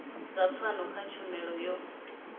dza pfano kha tshumelo yo